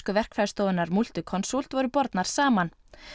verkfræðistofunnar Multiconsult voru bornar saman